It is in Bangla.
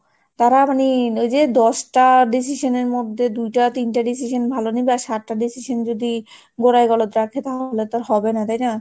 তারা মানে ওই যে দশটা decision এর মধ্যে দুইটা, তিনটে decision ভালো নিবে আর সাত decision যদি গোড়ায় গলদ রাখে তাহলে তো আর হবে না, তাই না?